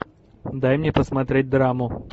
дай мне посмотреть драму